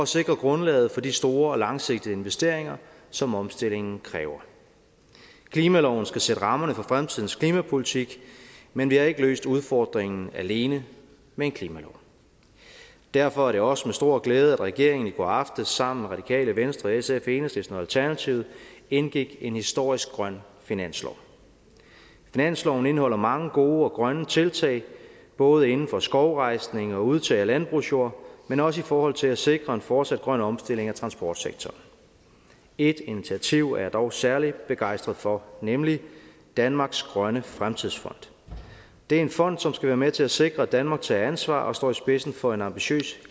sikre grundlaget for de store og langsigtede investeringer som omstillingen kræver klimaloven skal sætte rammerne for fremtidens klimapolitik men vi har ikke løst udfordringen alene med en klimalov derfor er det også med stor glæde at regeringen i går aftes sammen med radikale venstre sf enhedslisten og alternativet indgik en historisk grøn finanslov finansloven indeholder mange gode og grønne tiltag både inden for skovrejsning og udtag af landbrugsjord men også i forhold til at sikre en fortsat grøn omstilling af transportsektoren ét initiativ er jeg dog særlig begejstret for nemlig danmarks grønne fremtidsfond det er en fond som skal være med til at sikre at danmark tager ansvar og står i spidsen for en ambitiøs